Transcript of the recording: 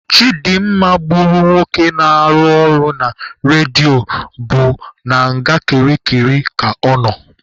Chidimma gburu nwoke na-arụ ọrụ na redio bụ na nga kirikiri ka ọ nọ.